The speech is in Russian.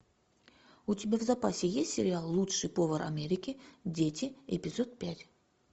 у тебя в запасе есть сериал лучший повар америки дети эпизод пять